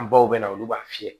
An baw bɛna olu b'a fiyɛ